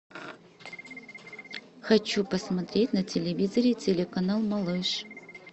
хочу посмотреть на телевизоре телеканал малыш